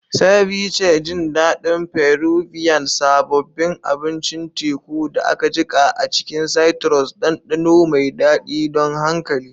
Ceviche, jin daɗin Peruvian, sabobin abincin teku da aka jiƙa a cikin citrus, ɗanɗano mai daɗi don hankali.